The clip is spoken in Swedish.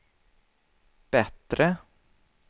bättre